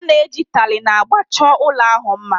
A na-eji taịlị na agba chọọ ụlọ ahụ mma